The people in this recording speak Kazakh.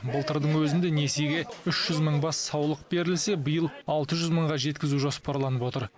былтырдың өзінде несиеге үш жүз мың бас саулық берілсе биыл алты жүз мыңға жеткізу жоспарланып отыр